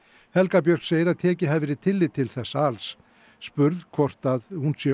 helga Björk segir að tekið hafi verið tillit til þessa alls spurð hvort hún sé